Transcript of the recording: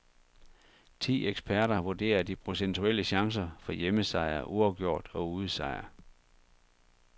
Ti eksperter vurderer de procentuelle chancer for hjemmesejr, uafgjort og udesejr.